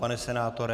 Pane senátore?